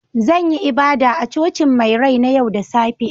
Zan yi ibada a Cocin mai rai na yau da safe